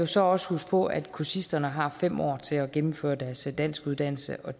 så også huske på at kursisterne har fem år til at gennemføre deres danskuddannelse og